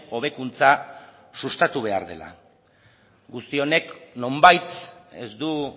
hobekuntza sustatu behar dela guzti honek nonbait ez du